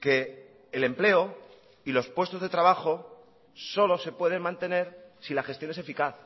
que el empleo y los puestos de trabajo solo se pueden mantener si la gestión es eficaz